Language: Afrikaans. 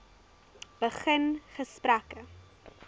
begin gesprekke